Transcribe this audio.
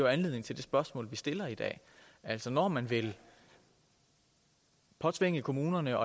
anledning til det spørgsmål vi stiller i dag altså når man vil påtvinge kommunerne